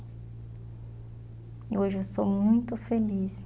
E hoje eu sou muito feliz.